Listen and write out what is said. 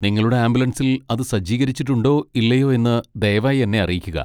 നിങ്ങളുടെ ആംബുലൻസിൽ അത് സജ്ജീകരിച്ചിട്ടുണ്ടോ ഇല്ലയോ എന്ന് ദയവായി എന്നെ അറിയിക്കുക.